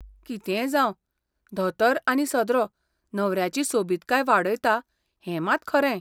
कितेंय जांव, धोतर आनी सदरो न्हवऱ्याची सोबितकाय वाडयता हें मात खरें.